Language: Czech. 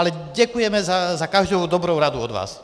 Ale děkujeme za každou dobrou radu od vás.